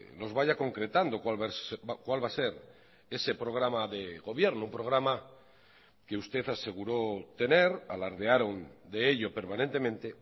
nos vaya concretando cuál va a ser ese programa de gobierno programa que usted aseguró tener alardearon de ello permanentemente